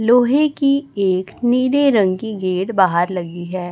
लोहे की एक नीले रंग की गेट बाहर लगी है।